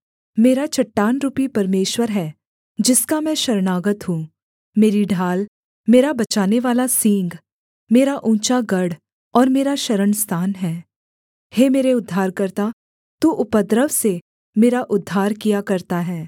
मेरा चट्टानरूपी परमेश्वर है जिसका मैं शरणागत हूँ मेरी ढाल मेरा बचानेवाला सींग मेरा ऊँचा गढ़ और मेरा शरणस्थान है हे मेरे उद्धारकर्ता तू उपद्रव से मेरा उद्धार किया करता है